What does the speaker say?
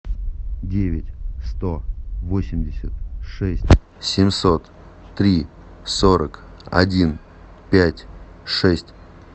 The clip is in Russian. девять сто восемьдесят шесть семьсот три сорок один пять шесть